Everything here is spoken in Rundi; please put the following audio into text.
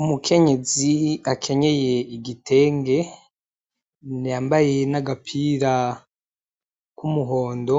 Umukenyezi akenyeye igitenge yambaye n'agapiro k'umuhondo